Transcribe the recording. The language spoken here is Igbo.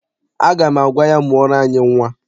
Aga m agwa ya, mụọrọ anyị nnwa.